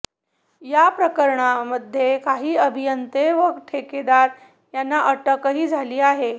या प्रकरणामध्ये काही अभियंते व ठेकेदार यांना अटकही झाली आहे